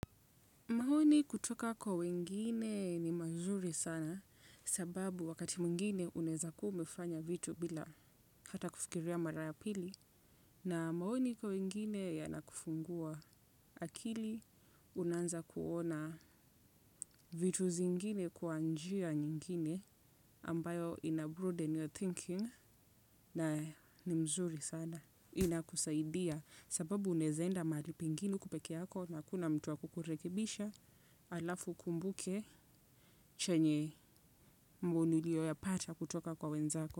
Maoni kutoka kwa wengine ni mazuri sana sababu wakati mwingine unaweza kuwa umefanya vitu bila hata kufikiria mara ya pili. Na maoni kwa wengine yanakufungua akili unaanza kuona vitu zingine kwa njia nyingine ambayo ina-broaden your thinking na ni mzuri sana. Inakusaidia sababu unawezaenda mahali pengine uko peke yako na hakuna mtu wa kukurekebisha halafu ukumbuke chenye mbunu uliyoyapata kutoka kwa wenzako.